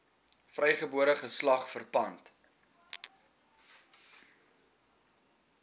vrygebore geslag verpand